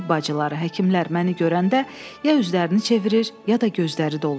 Tibb bacıları, həkimlər məni görəndə ya üzlərini çevirir, ya da gözləri dolurdu.